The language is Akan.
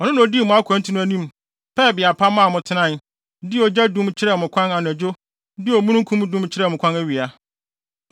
Ɔno na odii mo akwantu no anim, pɛɛ beae pa maa mo tenae, de ogya dum kyerɛɛ mo kwan anadwo de omununkum dum kyerɛɛ mo kwan awia.